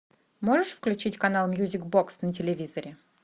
можешь включить канал мьюзик бокс на телевизоре